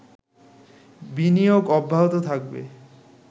বিনিয়োগ অব্যাহত থাকবে